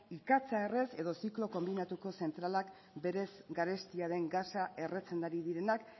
ikatza errez edo ziklo konbinatuko zentralak berez garestia den gasa erretzen ari direnak